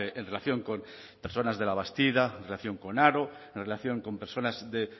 en relación con personas de labastida en relación con haro en relación con personas de